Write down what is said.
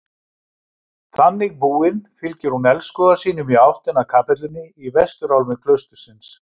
Þannig búin fylgir hún elskhuga sínum í áttina að kapellunni í vesturálmu klaustursins.